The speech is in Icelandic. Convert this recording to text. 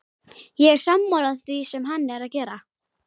Ég er sammála því sem hann er að gera.